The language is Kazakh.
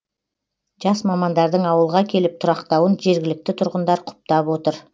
жас мамандардың ауылға келіп тұрақтауын жергілікті тұрғындар құптап отыр